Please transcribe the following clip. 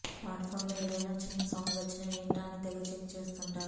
smart ఫోన్లో ఏదైనా చిన్న సౌండ్ వచ్చినా ఏంటా అని తెగ చెక్ చేస్తుంటారు